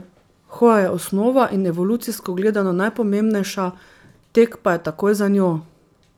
Torej niti ne za hipsterje, se strinja Dominik, ki se ne ozira na glasbene trende.